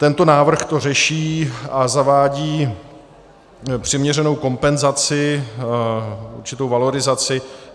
Tento návrh to řeší a zavádí přiměřenou kompenzaci, určitou valorizaci.